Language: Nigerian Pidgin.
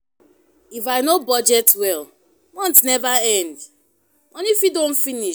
If I no budget well, month never end, money fit don finish.